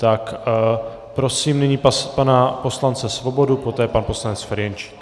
Tak prosím nyní pana poslance Svobodu, poté pan poslanec Ferjenčík.